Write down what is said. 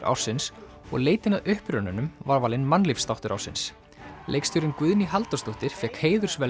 ársins og leitin að upprunanum var valinn ársins leikstjórinn Guðný Halldórsdóttir fékk